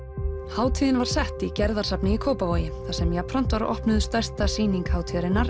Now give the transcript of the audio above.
hátíðin var sett í Gerðarsafni í Kópavogi þar sem jafnframt var opnuð stærsta sýning hátíðarinnar